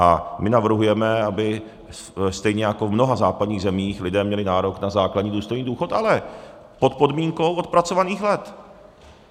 A my navrhujeme, aby stejně jako v mnoha západních zemích lidé měli nárok na základní důstojný důchod, ale pod podmínkou odpracovaných let.